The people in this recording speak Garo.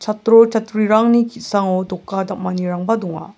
atro chatrirangni ki·sango doka dam·anirangba donga.